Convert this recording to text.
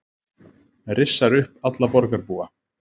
Rissar upp alla borgarbúa